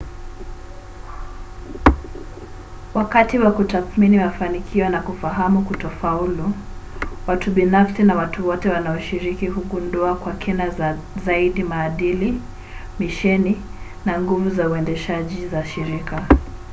wakati wa kutathmini mafanikio na kufahamu kutofaulu watu binafsi na watu wote wanaoshiriki hugundua kwa kina zaidi maadili misheni na nguvu za uendeshaji za shirika